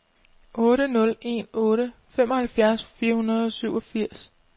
otte nul en otte femoghalvfems fire hundrede og syvogfirs